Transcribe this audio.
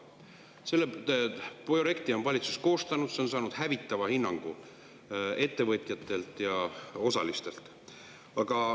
Selle projekti on valitsus koostanud, aga see on saanud hävitava hinnangu ettevõtjatelt ja osalistelt.